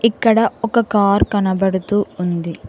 ఇక్కడ ఒక కార్ కనబడుతూ ఉంది.